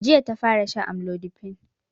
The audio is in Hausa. Jiya ta fara shan amlodipine